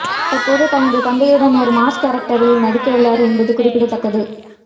தற்போது தனது தந்தையுடன் ஒரு மாஸ் கேரக்டரில் நடிக்கவுள்ளார் என்பது குறிப்பிடத்தக்கது